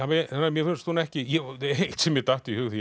mér finnst hún ekki eitt sem mér datt í hug